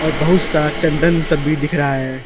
और बहुत सा चंदन सब भी दिख रहा है।